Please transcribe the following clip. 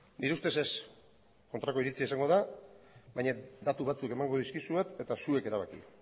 nire ustez ez kontrako iritzia izango da baina datu batzuk emango dizkizuet eta zuek erabaki